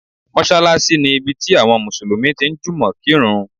Mọ́ṣálásí ni ibi tí àwọn Mùsùlùmí tí ń jùmọ̀ kírun.